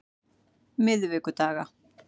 miðvikudaga